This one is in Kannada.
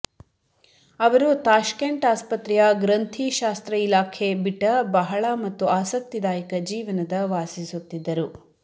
ಅವರು ತಾಷ್ಕೆಂಟ್ ಆಸ್ಪತ್ರೆಯ ಗ್ರಂಥಿ ಶಾಸ್ತ್ರ ಇಲಾಖೆ ಬಿಟ್ಟ ಬಹಳ ಮತ್ತು ಆಸಕ್ತಿದಾಯಕ ಜೀವನದ ವಾಸಿಸುತ್ತಿದ್ದರು